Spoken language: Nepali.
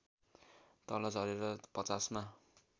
तल झरेर ५० मा